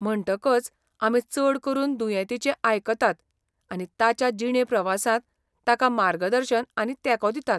म्हणटकच आमी चड करून दुयेंतीचें आयकतात आनी ताच्या जिणे प्रवासांत ताका मार्गदर्शन आनी तेंको दितात.